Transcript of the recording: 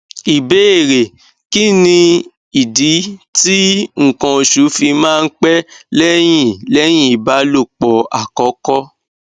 ìbéèrè kí nìdí tí nkan osu fi máa ń pẹ lẹyìn lẹyìn ìbálòpọ àkọkọ